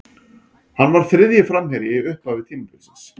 Hann var þriðji framherji í upphafi tímabilsins.